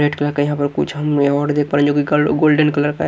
Red colour का यहाँ पर कुछ हम देख पा रहे है जोकि कल गोल्डन कलर का है।